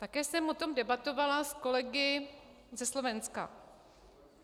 Také jsem o tom debatovala s kolegy ze Slovenska.